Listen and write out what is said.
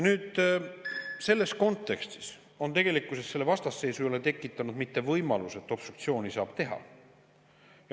Selles kontekstis ei ole selle vastasseisu tekitanud mitte võimalus, et obstruktsiooni saab teha.